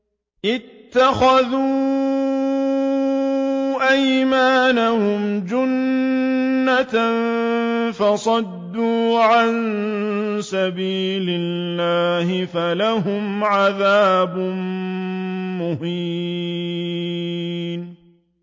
اتَّخَذُوا أَيْمَانَهُمْ جُنَّةً فَصَدُّوا عَن سَبِيلِ اللَّهِ فَلَهُمْ عَذَابٌ مُّهِينٌ